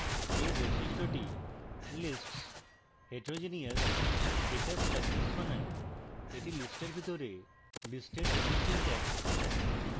এই বৈশিষ্ট্যটি lists heterogeneous data structures বানায় এটি list এর ভিতরে list এর জন্য syntax